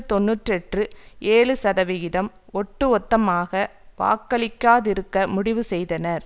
தொன்னூற்று எற்று ஏழு சதவீதம் ஒட்டு மொத்தமாக வாக்களிக்காதிருக்க முடிவு செய்தனர்